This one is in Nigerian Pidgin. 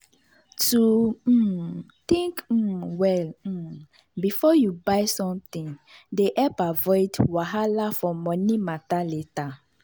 to um think um well um before you buy something dey help avoid wahala for money matter later.